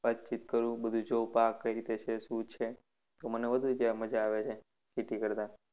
વાતચીત કરું બધુ જોવુ પાકકઈ રીતે છે શું છે તો મને વધુ ત્યાં મજા આવે છેખેતી કરતા.